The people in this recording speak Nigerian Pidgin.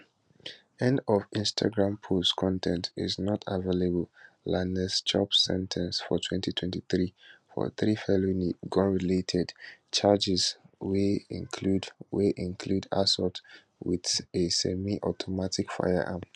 end of instagram post con ten t is not available lanez chopsen ten ce for 2023for three felony gunrelated charges wey include wey include assault wit a semiautomatic firearm